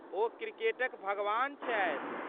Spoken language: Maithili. ओ 'क्रिकेटक भगवान' छथि।